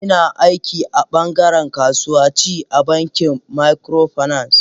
Ina aiki a bangaren kasuwa ci a bankin microfinance.